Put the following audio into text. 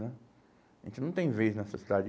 Né? A gente não tem vez nessa cidade.